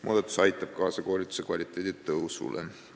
Muudatus aitab kaasa koolituse kvaliteedi paranemisele.